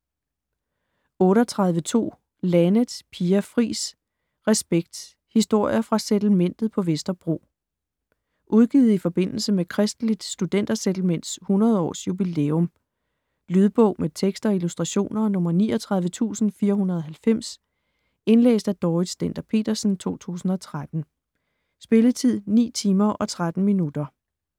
38.2 Laneth, Pia Fris: Respekt: historier fra Settlementet på Vesterbro Udgivet i forbindelse med Kristeligt Studenter Settlements 100 års jubilæum. Lydbog med tekst og illustrationer 39490 Indlæst af Dorrit Stender-Petersen, 2013. Spilletid: 9 timer, 13 minutter.